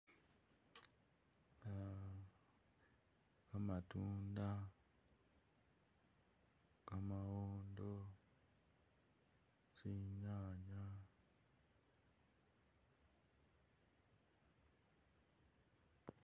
Uhhm kamatunda, kamawondo, tsinyanya